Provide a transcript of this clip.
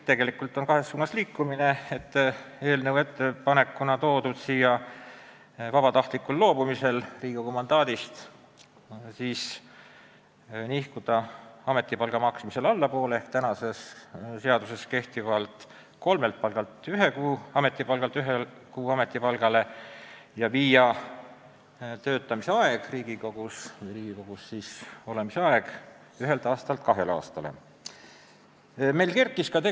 Tegelikult on tegu kahe ettepanekuga: vabatahtlikul loobumisel Riigikogu mandaadist võiks hüvitise maksmisel nihkuda allapoole ehk mitte maksta praeguse seaduse järgi hüvitist kolme kuu palga ulatuses, vaid ühe kuu palga ulatuses ja kehtestada, et Riigikogus olemise aeg peab sel juhul olema ühe aasta asemel vähemalt kaks aastat.